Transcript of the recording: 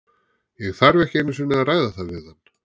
Ég þarf ekki einu sinni að ræða það við hann.